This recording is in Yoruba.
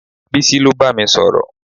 Bísí ló bámi sọ̀rọ̀